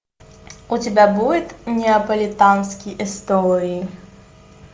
у тебя будет неаполитанские истории